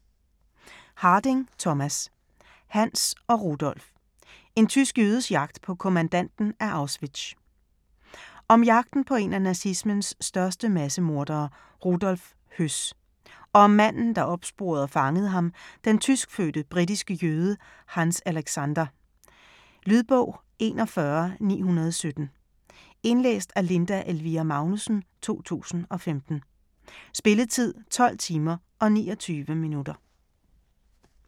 Harding, Thomas: Hanns og Rudolf: en tysk jødes jagt på kommandanten af Auschwitz Om jagten på en af nazismens største massemordere, Rudolf Höss (1901-1947), og om manden der opsporede og fangede ham, den tyskfødte britiske jøde, Hanns Alexander (1917-2006). Lydbog 41917 Indlæst af Linda Elvira Magnussen, 2015. Spilletid: 12 timer, 29 minutter.